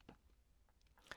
DR2